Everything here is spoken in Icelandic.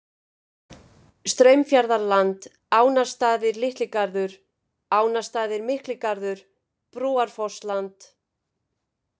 Straumfjarðarland, Ánastaðir-Litligarður, Ánastaðir-Mikligarður, Brúarfossland